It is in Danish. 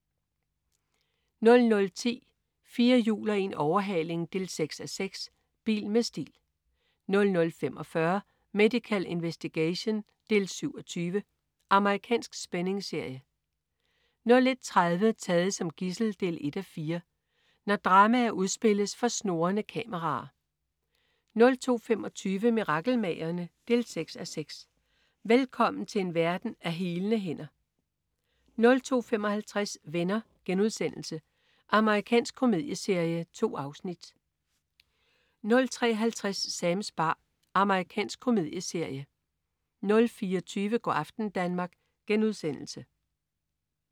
00.10 4 hjul og en overhaling 6:6. Bil med stil 00.45 Medical Investigation 7:20. Amerikansk spændingsserie 01.30 Taget som gidsel 1:4. Når dramaer udspilles for snurrende kameraer 02.25 Mirakelmagerne? 6:6. Velkommen til en verden af healende hænder 02.55 Venner.* Amerikansk komedieserie. 2 afsnit 03.50 Sams bar. Amerikansk komedieserie 04.20 Go' aften Danmark*